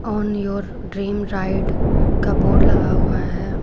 Own your dream ride का board लगा हुआ है।